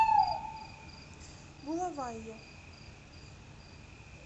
булавайо